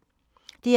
DR1